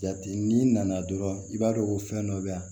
Jate n'i nana dɔrɔn i b'a dɔn ko fɛn dɔ bɛ yan